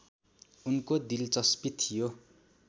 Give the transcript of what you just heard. उनको दिलचस्पी थियो